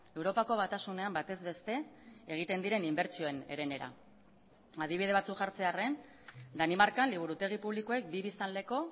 europako batasunean batez beste egiten diren inbertsioen erenera adibide batzuk jartzearren danimarkan liburutegi publikoek bi biztanleko